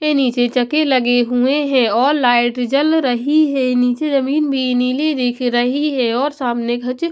के नीचे चके लगे हुए हैं और लाइट जल रही है नीचे जमीन भी नीली दिख रही है और सामने घज--